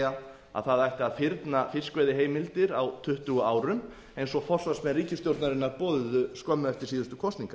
er að það ætti að fyrna fiskveiðiheimildir á tuttugu árum eins og forsvarsmenn ríkisstjórnarinnar boðuðu skömmu eftir síðustu kosningar